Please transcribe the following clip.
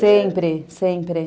Sempre, sempre.